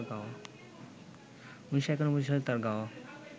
১৯৯১ সালে তাঁর গাওয়া